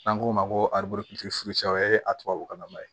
N'an k'o ma ko arabutigi o ye a tubabukan nama ye